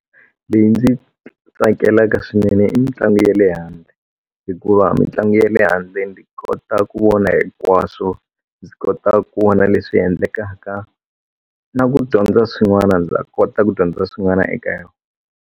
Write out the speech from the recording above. Leyi ndzi yi tsakelaka swinene i mitlangu ya le handle hikuva mitlangu ya le handle ndzi kota ku vona hinkwaswo ndzi kota ku vona leswi endlekaka na ku dyondza swin'wana ndza kota ku dyondza swin'wana eka yona.